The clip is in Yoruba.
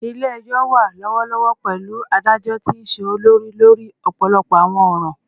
Ile-ẹjọ wa lọwọlọwọ, pẹlu adajọ ti nṣe olori lori ọpọlọpọ awọn ọran